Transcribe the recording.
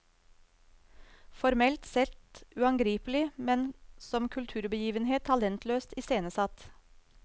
Formelt sett uangripelig, men som kulturbegivenhet talentløst iscenesatt.